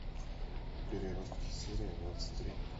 переростки серия двадцать три